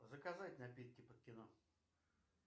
заказать напитки под кино